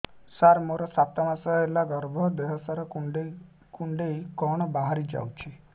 ସାର ମୋର ସାତ ମାସ ହେଲା ଗର୍ଭ ଦେହ ସାରା କୁଂଡେଇ କୁଂଡେଇ କଣ ବାହାରି ଯାଉଛି